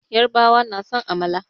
Yarbawa na son amala.